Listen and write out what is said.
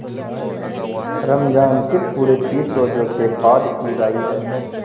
रमज़ान के पूरे तीस रोजों के बाद ईद आई है